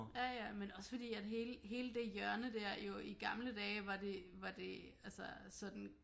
Ja ja men også fordi at hele hele det hjørne dér jo i gamle dage var det var det altså sådan